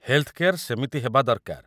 Health care ସେମିତି ହେବା ଦରକାର ।